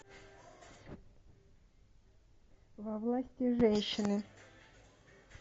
во власти женщины